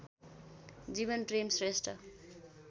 Jeevanprem Shrestha